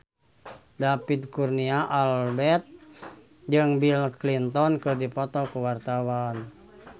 David Kurnia Albert jeung Bill Clinton keur dipoto ku wartawan